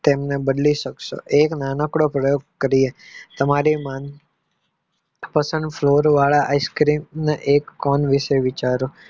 તેમને બદલી સક્સો એક નાનકડો પ્રયોગ કરીયે તમારે મનપસંદ flavor વાળા ice cream ના એક કોન વિશે વિચારો